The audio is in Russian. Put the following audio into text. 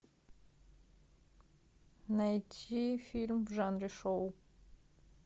найти фильм в жанре шоу